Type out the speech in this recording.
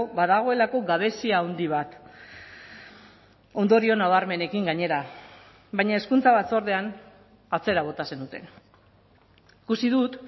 badagoelako gabezia handi bat ondorio nabarmenekin gainera baina hezkuntza batzordean atzera bota zenuten ikusi dut